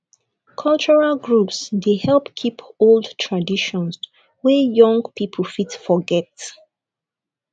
cultural groups dey help keep old traditions wey young people fit forget